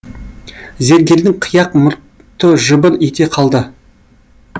зергердің қияқ мұртты жыбыр ете қалды